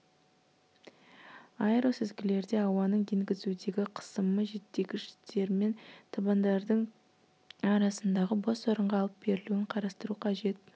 аэросүзгілерде ауаның енгізудегі қысымы желдеткіштермен табандардың арасындағы бос орынға алып берілуін қарастыру қажет